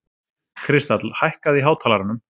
Kristall, hækkaðu í hátalaranum.